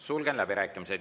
Sulgen läbirääkimised.